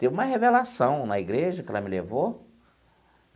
Teve uma revelação na igreja que ela me levou.